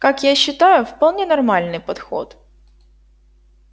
как я считаю вполне нормальный подход